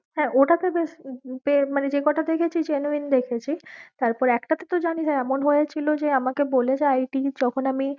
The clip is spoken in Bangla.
হ্যাঁ হ্যাঁ ওটা তে বেশ যে কটা তে গেছি genuine দেখেছি, তারপর একটা তে তো জেনিস এমন হয়েছিল যে আমাকে বলে যে it যখন আমি